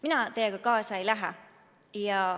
Mina teiega kaasa ei lähe.